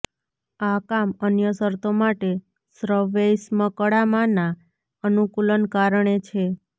આ કામ અન્ય શરતો માટે શ્વૈષ્મકળામાં ના અનુકૂલન કારણે છે